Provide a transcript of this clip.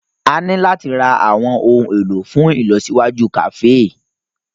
A ní láti ra àwọn ohun èlò fún ìlọsíwájú kàféè.